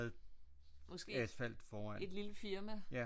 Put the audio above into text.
Måske et lille firma